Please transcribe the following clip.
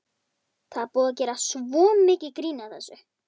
Það er búið að gera svo mikið grín að þessu.